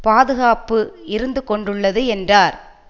பாதுகாப்பு இருந்துகொண்டுள்ளது என்றார்